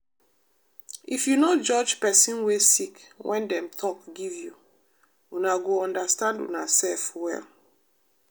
if you no judge pesin wey sick wen dem talk give you una go understand unasef well.